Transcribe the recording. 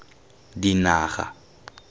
dinaga